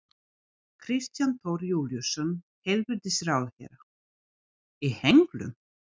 Kristján Þór Júlíusson, heilbrigðisráðherra: Í henglum?